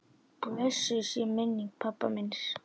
Blessuð sé minning pabba míns.